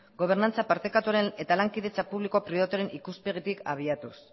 gobernantza partekatuaren eta lankidetza publiko pribatuaren ikuspegitik abiatuz